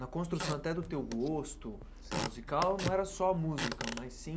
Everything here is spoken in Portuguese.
Na construção até do teu gosto musical, não era só a música, mas sim...